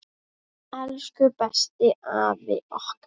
Elsku besti afi okkar!